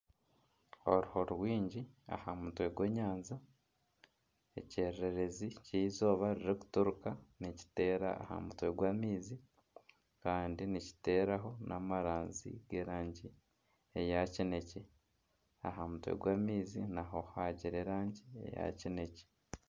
Oruho rwingi aha mutwe gw'enyanja, ekyererezi ky'eizooba riri kuturuka nikiteera aha mutwe gw'amaizi kandi nikiteraho n'amaranzi g'erangi eya kinekye . Aha mutwe gw'amaizi naho hagira erangi ya kinekye.